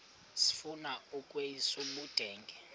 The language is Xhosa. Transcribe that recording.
sifuna ukweyis ubudenge